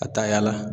Ka taa yaala